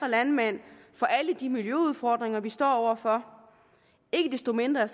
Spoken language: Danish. landmænd for alle de miljøudfordringer vi står over for ikke desto mindre er